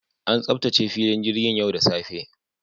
An tsaftace filin jirgin yau da safe.